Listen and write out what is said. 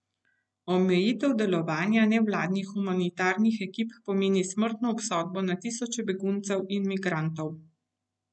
Omejitev delovanja nevladnih humanitarnih ekip pomeni smrtno obsodbo na tisoče beguncev in migrantov.